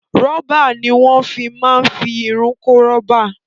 Rọ́bà ni wọn fi máa ń fi irun korobá